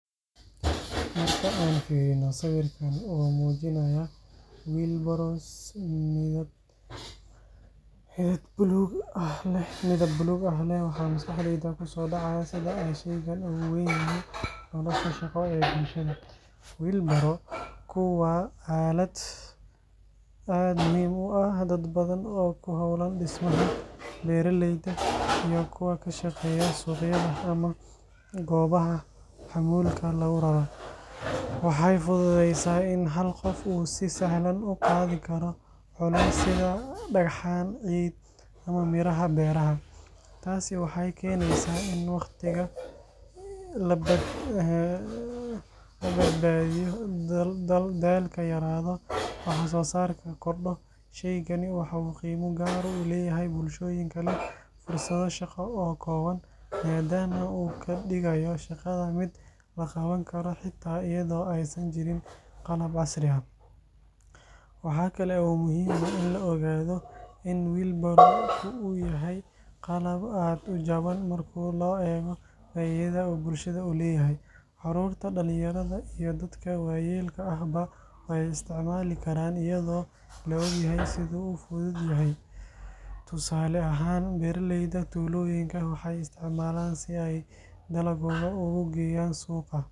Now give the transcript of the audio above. Marka aan fiirino sawirkan oo muujinaya wheelbarrows midab buluug ah leh, waxa maskaxda ku soo dhacaya sida ay shaygan ugu weyn yahay nolosha shaqo ee bulshada. Wheelbarrow-ku waa aalad aad u muhiim u ah dad badan oo ku hawlan dhismaha, beeralayda, iyo kuwa ka shaqeeya suuqyada ama goobaha xamuulka lagu raro. Waxay fududaysaa in hal qof uu si sahlan ugu qaadi karo culeysyo sida dhagxaan, ciid, ama miraha beeraha. Taasi waxay keenaysaa in waqtiga la badbaadiyo, daalka yaraado, waxsoosaarkana kordho. Shaygani waxa uu qiimo gaar ah u leeyahay bulshooyinka leh fursado shaqo oo kooban, maadaama uu ka dhigayo shaqada mid la qaban karo xitaa iyadoo aysan jirin qalab casri ah. Waxaa kale oo muhiim ah in la ogaado in wheelbarrow-ku yahay qalab aad u jaban marka loo eego faa’iidada uu bulshada u leeyahay. Carruurta, dhallinyarada, iyo dadka waayeelka ahba way isticmaali karaan iyadoo la og yahay sida uu u fudud yahay. Tusaale ahaan, beeraleyda tuulooyinka waxay isticmaalaan si ay dalaggooda ugu geeyaan suuqa.